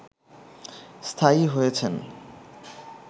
স্থায়ী হয়েছেন